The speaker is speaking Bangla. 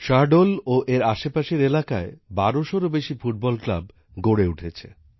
শাহডোল ও এর আশপাশের এলাকায় বারোশোর বেশী ফুটবল ক্লাব গড়ে উঠেছে